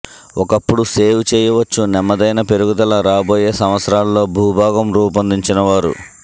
ఒకప్పుడు సేవ్ చేయవచ్చు నెమ్మదైన పెరుగుదల రాబోయే సంవత్సరాలలో భూభాగం రూపొందించినవారు